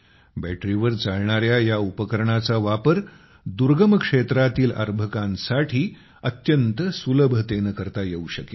बॅटरीवर चालणाऱ्या या उपकरणाचा वापर दुर्गम क्षेत्रातील अर्भकांसाठी अत्यंत सुलभतेने करता येऊ शकेल